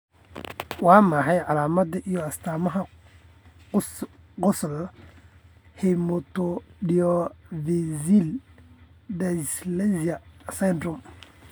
Waa maxay calaamadaha iyo astaamaha Ghosal hematodiaphyseal dysplasia syndrome?